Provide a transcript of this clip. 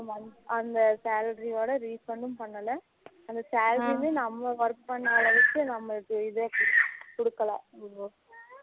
அந்த salary ஓட refund யும் பண்ணல அந்த salary லயும் நம்ம work பண்ணுற அளவுக்கு நம்மளுக்கு இதுவும் கொடுக்கல